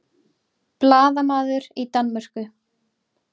Blaðamaður í Danmörku